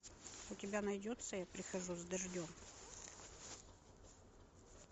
у тебя найдется я прихожу с дождем